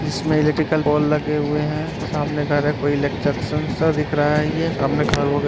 जिसमें electrical ball लगे हुए हैं। सामने घर है कोई इलेकजंक्शन सा दिख रहा है ये। सामने घर --